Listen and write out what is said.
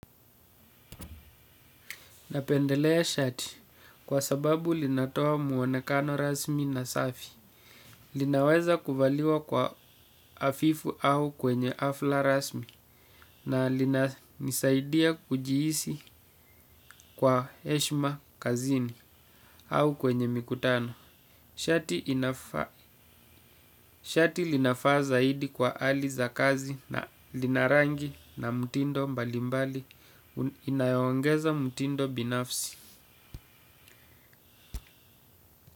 Napendelea shati kwa sababu linatoa muonekano rasmi na safi, linaweza kuvaliwa kwa afifu au kwenye afla rasmi na lina nisaidia kujihisi kwa heshima kazini, au kwenye mikutano, shati ina shati linafaa zaidi kwa hali za kazi na linarangi na mutindo mbalimbali inayoongeza mtindo binafsi.